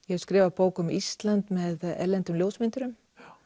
ég hef skrifað bók um Ísland með erlendum ljósmyndurum